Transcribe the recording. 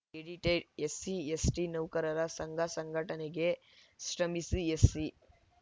edited SC ST ನೌಕರರ ಸಂಘ ಸಂಘಟನೆಗೆ ಶ್ರಮಿಸಿ ಎಸ್‌ಸಿ